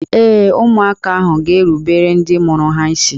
Ee, ụmụaka ahụ ga-erubere ndị mụrụ ha isi